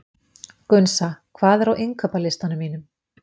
Gunnsa, hvað er á innkaupalistanum mínum?